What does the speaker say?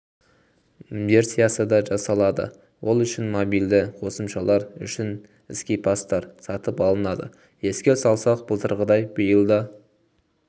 версиясы да жасалады ол үшінмобильді қосымшалар үшін скипастар сатып алынады еске салсақ былтырғыдай биыл да